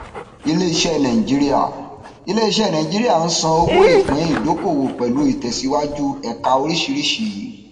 iléiṣẹ nigeria iléiṣẹ nigeria ń san owó ìpín ìdókòwò pẹlú ìtẹsíwájú ẹka oríṣìíríṣìí